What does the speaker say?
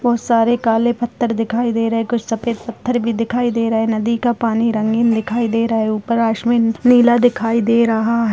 बहोत सारे काले पत्थर दिखाई दे रहे हैं कुछ सफेद पत्थर भी दिखाई दे रहे हैं नदी का पानी रंगीन दिखाई दे रहा है। ऊपर आसमिन नीला दिखाई दे रहा है।